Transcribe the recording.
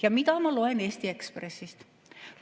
Ja mida ma loen Eesti Ekspressist?